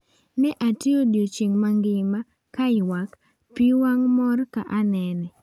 "Ne atiyo odiechieng' mangima ka ywak pi wang' mor ka anene."